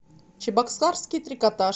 чебоксарский трикотаж